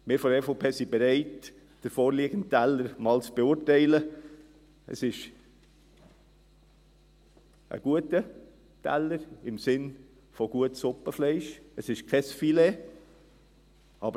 Wir von der EVP sind bereit, den vorliegenden Teller einmal zu beurteilen, zu prüfen, konkret anzuschauen und eine gute und moderate Umsetzung dieser Dinge anzustreben.